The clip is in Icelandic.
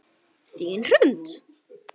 Þín Hrund.